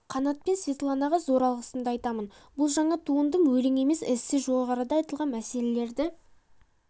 қанат пен светланаға зор алғысымды айтамын бұл жаңа туындым өлең емес эссе жоғарыда айтылған мәселелерді